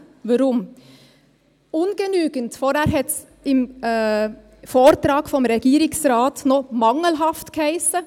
Weshalb? – «Ungenügend» hiess zuvor im Vortrag des Regierungsrates noch «mangelhaft».